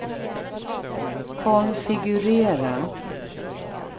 konfigurera